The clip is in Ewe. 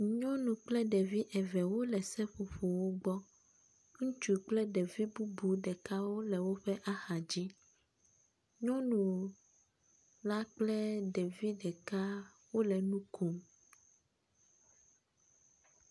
Nyɔnu kple ɖevi eve wole seƒoƒowo gbɔ. Ŋutsu kple ɖevi bubu ɖeka wole woƒe axadzi. Nyɔnu la kple ɖevi ɖeka wole nu kom.